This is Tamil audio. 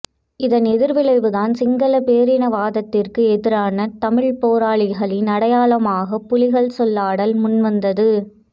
இதன் எதிர்விளைவுதான் சிங்கள பேரினவாதத்திற்கு எதிரான தமிழ்ப் போராளிகளின் அடையாளமாக புலிகள் சொல்லாடல் முன்வந்தது